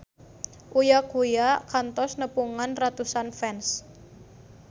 Uya Kuya kantos nepungan ratusan fans